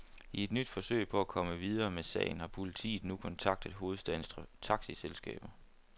I et nyt forsøg på at komme videre med sagen har politiet nu kontaktet hovedstadens taxiselskaber.